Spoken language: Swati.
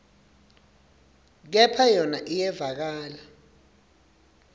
kepha yona iyevakala